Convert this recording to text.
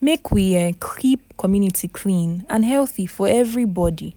make we um keep community clean and healthy for everybody.